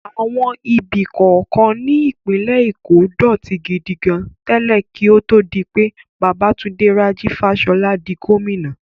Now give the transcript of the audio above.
Àwọn ibi kọ̀ọ̀kan ní ìpínlẹ̀ Èkó dọ̀tí gidi gan tẹ́lẹ̀ kí ó tó di pé Babátúndé Rájí Fáṣọlá di gómìnà.